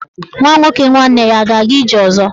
Nwa nwoke nwanne ya a ga-aga ije ọzọ?